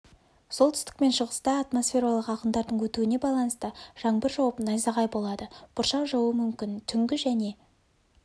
солтүстік пен шығыста атмосфералық ағындардың өтуіне байланысты жаңбыр жауып найзағай болады бұршақ жаууы мүмкін түнгі және